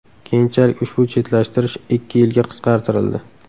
Keyinchalik ushbu chetlashtirish ikki yilga qisqartirildi.